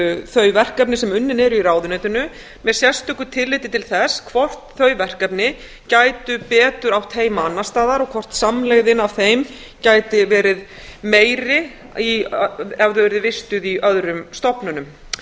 þau verkefni sem unnin eru í ráðuneytinu með sérstöku tilliti til þess hvort þau verkefni gætu betur átt heima annars staðar og háar samlegðin af þeim gæti verið meiri ef þau eru vistuð í öðrum stofnunum